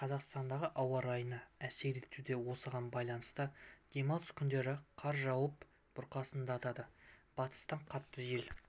қазақстандағы ауа райына әсер етуде осыған байланысты демалыс күндері қар жауып бұрқасындатады батыстан қатты жел